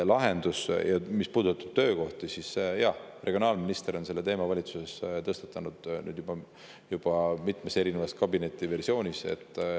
Mis puudutab töökohti, siis regionaalminister on selle teema valitsuses tõstatanud, nüüd juba mitmes erinevas kabinetis.